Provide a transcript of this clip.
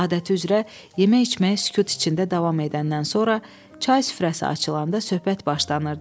Adəti üzrə yemək-içməyə sükut içində davam edəndən sonra çay süfrəsi açılanda söhbət başlanırdı.